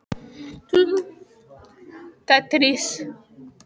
Útidyrnar voru skreyttar bogadregnum glugga með litlum rúðum.